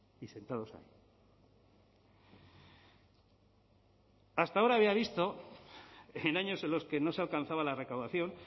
y sentados ahí hasta ahora había visto en años en los que no se alcanzaba la recaudación